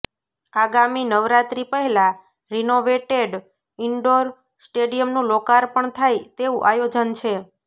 આગામી નવરાત્રી પહેલાં renovated indoor સ્ટેડિયમનું લોકાર્પણ થાય તેવું આયોજન છે